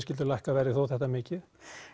skyldi lækka verðið þó það mikið